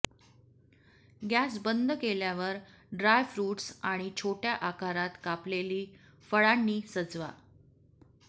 gas बंद केल्यावर dry fruits आणी छोट्या आकारात कापलेली फळांनी सजवा